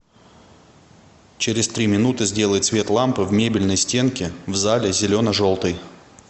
через три минуты сделай цвет лампы в мебельной стенке в зале зелено желтый